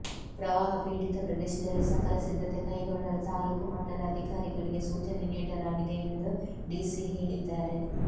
ಪ್ರವಾಹ ಪೀಡಿತ ಪ್ರದೇಶದಲ್ಲಿ ಸಕಲ ಸಿದ್ಧತೆ ಕೈಗೊಳ್ಳಲು ತಾಲೂಕು ಮಟ್ಟದ ಅಧಿಕಾರಿಗಳಿಗೆ ಸೂಚನೆ ನೀಡಲಾಗಿದೆ ಎಂದು ಡಿಸಿ ಹೇಳಿದ್ದಾರೆ